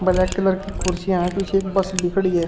Black colour की कुर्सियां हैं पीछे एक बस भी खड़ी है।